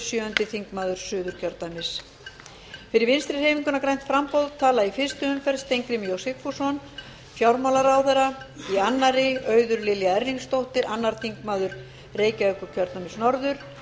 sjöundi þingmaður suðurkjördæmis fyrir vinstri hreyfinguna grænt framboð tala í fyrstu umferð steingrímur j sigfússon fjármálaráðherra í annarri auður lilja erlingsdóttir annar þingmaður reykjavíkurkjördæmis norður